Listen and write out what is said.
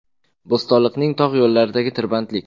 Bo‘stonliqning tog‘ yo‘llaridagi tirbandlik.